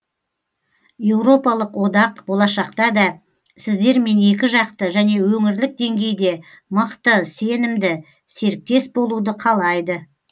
еуропалық одақ болашақта да сіздермен екіжақты және өңірлік деңгейде мықты сенімді серіктес болуды қалайды